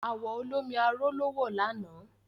Àwọ̀ olómi arò ló wọ̀ lànà